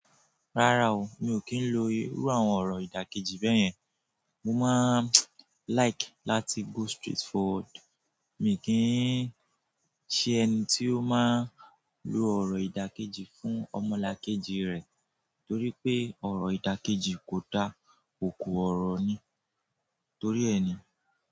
Rárá o, mi ò kí ń lo irú àwọn ọ̀rọ̀ ìdàkejì bẹ́yẹn. Mo máa like láti go straight forward. Mi kì n ṣe ẹni tí ó máa ń lo ọ̀rọ̀ ìdàkejì fún ọmọlàkejì rẹ̀ torí pé ọ̀rọ̀ ìdàkejì kò da, òko ọ̀rọ̀ ni toríẹ ni.